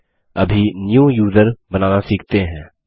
चलिए अभी new user बनाना सीखते हैं